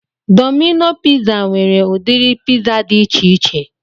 Domino piza nwere udiri piza dị ichiche